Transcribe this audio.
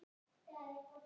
Pabbi reyndi að brosa.